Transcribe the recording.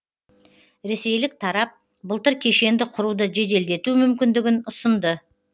ресейлік тарап былтыр кешенді құруды жеделдету мүмкіндігін ұсынды